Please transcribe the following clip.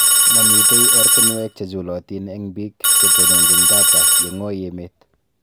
Mamitei ortinwek che chulotin eng biik chetononjin data yeng'oi emet